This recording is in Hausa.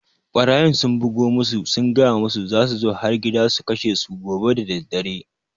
Ɓarayin sun bugo musu sun gaya musu za su zo har gida su kashe su gobe daddare